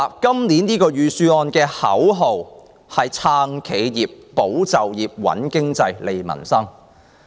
本年預算案的口號是"撐企業、保就業、穩經濟、利民生"。